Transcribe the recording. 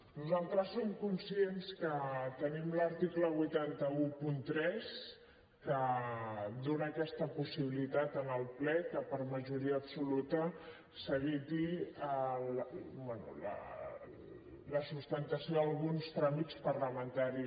nosaltres som conscients que tenim l’article vuit cents i tretze que dona aquesta possibilitat al ple que per majoria absoluta s’eviti la substanciació d’alguns tràmits parlamentaris